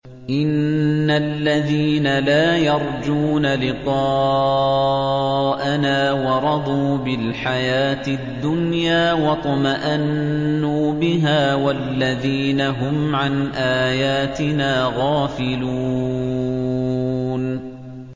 إِنَّ الَّذِينَ لَا يَرْجُونَ لِقَاءَنَا وَرَضُوا بِالْحَيَاةِ الدُّنْيَا وَاطْمَأَنُّوا بِهَا وَالَّذِينَ هُمْ عَنْ آيَاتِنَا غَافِلُونَ